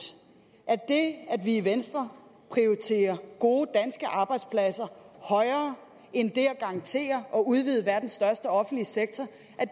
at det at vi i venstre prioriterer gode danske arbejdspladser højere end det at garantere og udvide verdens største offentlige sektor